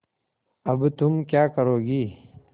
अब तुम क्या करोगी